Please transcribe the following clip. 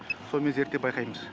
сонымен зерттеп байқаймыз